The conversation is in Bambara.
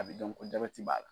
A bɛ dɔn ko jabɛti b'a la.